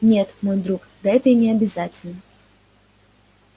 нет мой друг да это и не обязательно